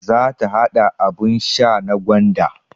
Za ta haɗa abun sha na gwanda